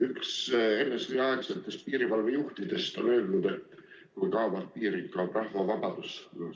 Üks NSV Liidu aegsetest piirivalvejuhtidest on olnud veendunud, et kui kaovad piirid, kaob rahva vabadus.